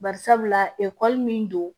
Bari sabula ekɔli min don